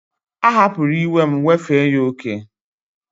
A hapuru iwe m,wefe ya oke